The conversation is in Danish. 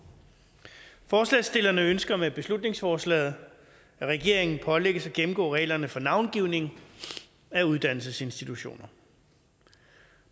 forslagsstillerne ønsker med beslutningsforslaget at regeringen pålægges at gennemgå reglerne for navngivning af uddannelsesinstitutioner